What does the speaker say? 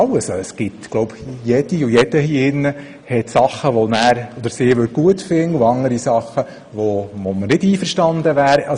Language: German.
Sicher gäbe es für jeden Einzelnen von uns Dinge, die wir gut fänden und solche, mit denen wir nicht einverstanden wären.